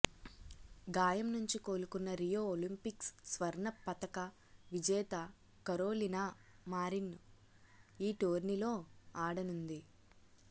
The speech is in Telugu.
గాయం నుంచి కోలుకున్న రియో ఒలింపిక్స్ స్వర్ణ పతక విజేత కరోలినా మారిన్ ఈ టోర్నీలో ఆడనుంది